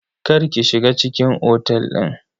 Kar ki shiga cikin otel din.